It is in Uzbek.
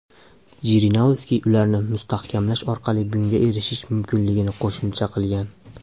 Jirinovskiy ularni mustahkamlash orqali bunga erishish mumkinligini qo‘shimcha qilgan.